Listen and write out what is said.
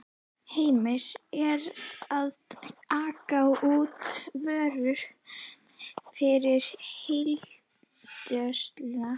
Hemmi er að aka út vörum fyrir heildsöluna.